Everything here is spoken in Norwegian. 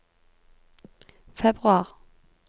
februar